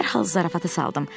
Dərhal zarafata saldım.